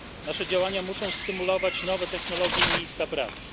Nasze działania muszą stymulować nowe technologie i miejsca pracy.